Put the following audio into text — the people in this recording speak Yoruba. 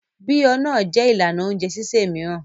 Bí ọ́ náà jẹ́ ìlànà oúnjẹ sísè mìíràn.